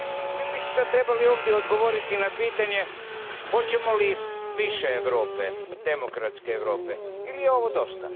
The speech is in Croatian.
Mi bismo sada ovdje trebali odgovoriti na pitanje hoćemo li više Europe, demokratske Europe, ili je ovo dosta.